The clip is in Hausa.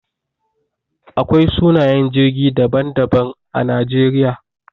Akwai sunayen jirgi daban-daban a Najeriya.